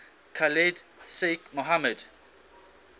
khalid sheikh mohammed